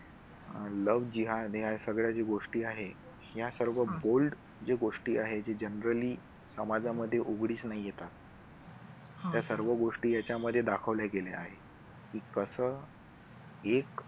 लव्हजिहाद या सगळ्या गोष्टी आहेत या सर्व bold ज्या गोष्टी आहेत त्या generally समाजामध्ये उघडीस न येतात या सर्व गोष्टी याच्यामध्ये दाखवल्या गेल्या आहेत की कसं एक